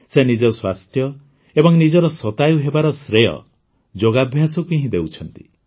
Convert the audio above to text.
ସେ ନିଜ ସ୍ୱାସ୍ଥ୍ୟ ଏବଂ ନିଜର ଶତାୟୂ ହେବାର ଶ୍ରେୟ ଯୋଗାଭ୍ୟାସକୁ ହିଁ ଦେଉଛନ୍ତି